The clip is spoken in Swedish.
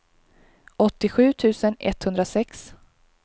åttiosju tusen etthundrasex